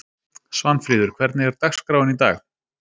Svanfríður, hvernig er dagskráin í dag?